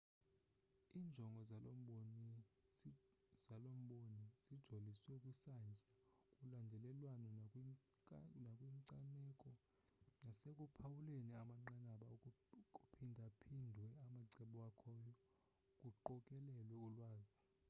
injongo zalomboni sijoliswe kwisantya kulandelelwano nakwinkcaneko nasekuphawuleni amanqanaba kuphindaphindwe amacebo akhoyo kuqokelelwe ulwazi